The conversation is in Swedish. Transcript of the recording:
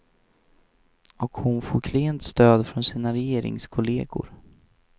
Och hon får klent stöd från sina regeringskolleger.